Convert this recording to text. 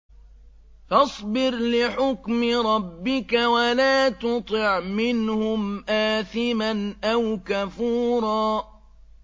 فَاصْبِرْ لِحُكْمِ رَبِّكَ وَلَا تُطِعْ مِنْهُمْ آثِمًا أَوْ كَفُورًا